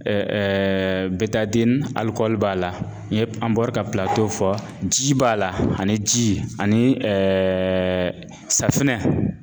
b'a la n ye an bɔra ka fɔ ji b'a la ani ji ani safinɛ